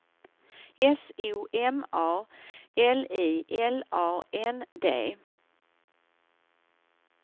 S O M A L I L A N D